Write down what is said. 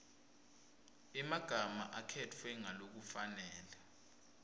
emagama akhetfwe ngalokufanele